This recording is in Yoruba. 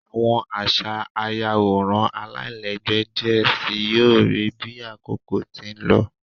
Awọn aṣa ayaworan alailẹgbẹ diẹ sii yoo rii bi akoko ti n lọ